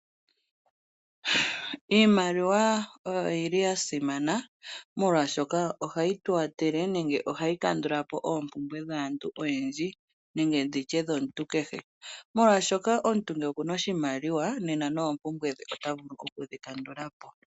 Iimaliwa oya simana l, molwashoka ohayi tu kwathele nenge ohayi kandula po oompumbwe dhaantu oyendji nenge ndi tye dhomuntu kehe ,molwashoka omuntu ngele oku na oshimaliwa nena noompumbwe dhe ota vulu okudhi kandula po.